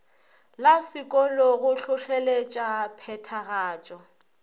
la sekolo go hlohleletša phethagatšo